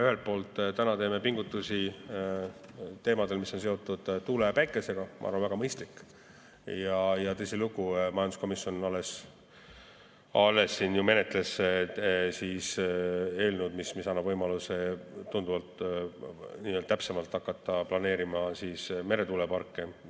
Ühelt poolt me täna teeme pingutusi, mis on seotud tuule ja päikesega – ma arvan, väga mõistlik –, ja tõsilugu, majanduskomisjon alles ju menetles eelnõu, mis annab võimaluse hakata tunduvalt täpsemalt planeerima meretuuleparke.